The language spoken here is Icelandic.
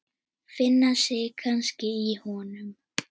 Finna sig kannski í honum.